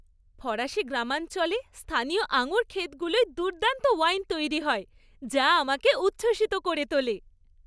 ফরাসি গ্রামাঞ্চলে স্থানীয় আঙুর ক্ষেতগুলোয় দুর্দান্ত ওয়াইন তৈরি হয় যা আমাকে উচ্ছ্বসিত করে তোলে।